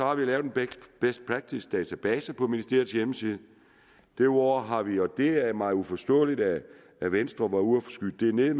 har vi lavet en best practice database på ministeriets hjemmeside derudover har vi og det er mig uforståeligt at at venstre var ude at skyde det ned